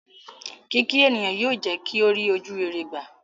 Kíkí ènìyàn yóò jẹ́ kí ó rí ojúrere gbà.